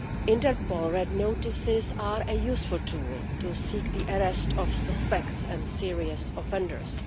Interpol Red Notices are a useful tool to seek the arrest of suspects and serious offenders.